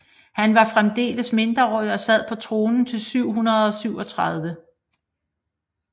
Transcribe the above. Han var fremdeles mindreårig og sad på tronen til 737